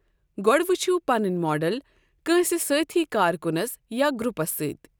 گۄڈٕ وٕچھو پنٕنۍ ماڈل کٲنٛسہِ سٲتھی کارکُنَس یا گروپَس سۭتۍ۔